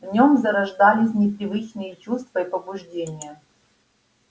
в нем зарождались непривычные чувства и побуждения